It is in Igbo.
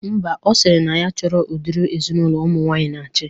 Mba, ọ sịrị na ya chọrọ udiri ezinaụlọ ụmụ nwaanyị na-achị